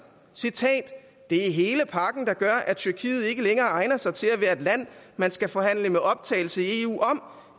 det er hele pakken der gør at tyrkiet ikke længere egner sig til at være et land man skal forhandle med optagelse i eu om